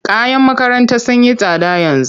Kayan makaranta sun yi tsada yanzu.